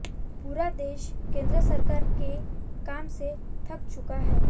पूरा देश केंद्र सरकार के काम से थक चुका है